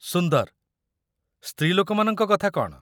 ସୁନ୍ଦର। ସ୍ତ୍ରୀଲୋକମାନଙ୍କ କଥା କ'ଣ?